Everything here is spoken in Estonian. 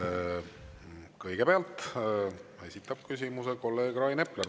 Kõigepealt esitab küsimuse kolleeg Rain Epler.